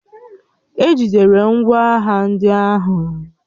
E jidere ngwá agha ndị ahụ